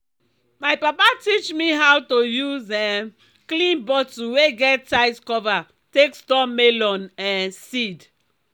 my papa teach me how to use um clean bottle wey get tight cover take store melon um seed.